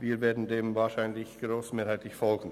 Wir werden dem wahrscheinlich grossmehrheitlich folgen.